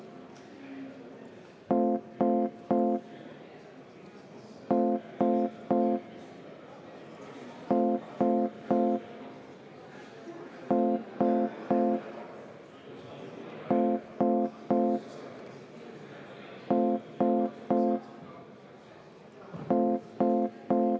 Selline võrdlus minu meelest on kohatu – vähemalt Isamaa ja EKRE suhtes.